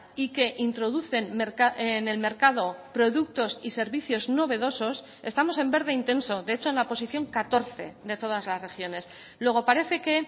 y que introducen en el mercado productos y servicios novedosos estamos en verde intenso de hecho en la posición catorce de todas las regiones luego parece que